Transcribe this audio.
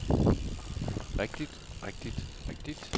rigtigt rigtigt rigtigt